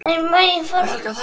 Lætur gamminn geisa.